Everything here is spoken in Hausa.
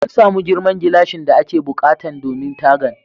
Mun samu girman gilashin da ake buƙatan domin tagan.